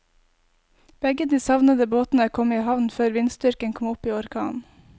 Begge de savnede båtene kom i havn før vindstyrken kom opp i orkan.